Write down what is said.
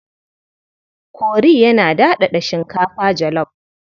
Kori yana daɗaɗa shinkafa jalaf.